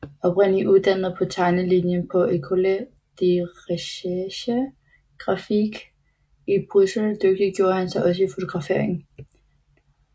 Oprindeligt uddannet på tegnelinjen på École de recherche graphique i Bryssel dygtiggjorde han sig også i fotografering